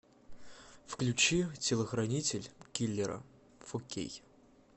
включи телохранитель киллера фо кей